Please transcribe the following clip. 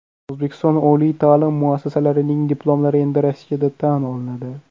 O‘zbekiston oliy ta’lim muassasalarining diplomlari endi Rossiyada tan olinadi.